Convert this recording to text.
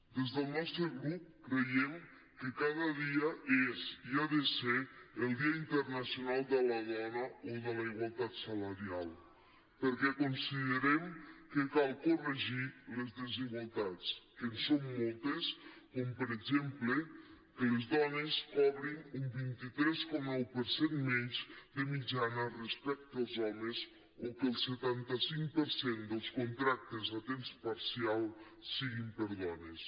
des del nostre grup creiem que cada dia és i ha de ser el dia internacional de la dona o de la igualtat salarial perquè considerem que cal corregir les desigualtats que en són moltes com per exemple que les dones cobrin un vint tres coma nou per cent menys de mitjana respecte als homes o que el setanta cinc per cent dels contractes a temps parcial siguin per a dones